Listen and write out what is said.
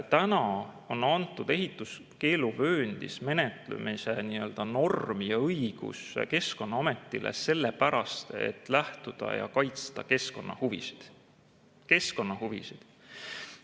Täna on antud ehituskeeluvööndis menetlemisel nii-öelda normi õigus Keskkonnaametile, sellepärast et lähtuda keskkonnahuvidest, kaitsta keskkonnahuvisid.